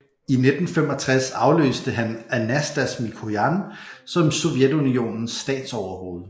I 1965 afløste han Anastas Mikojan som Sovjetunionens statsoverhoved